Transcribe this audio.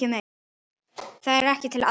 Þar er allt til alls.